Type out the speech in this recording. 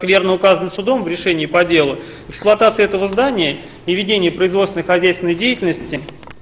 верно указано судом в решении по делу эксплуатация этого здания и ведение производственно-хозяйственной деятельности